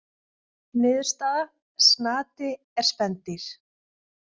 Niðurstaða: Snati er spendýr.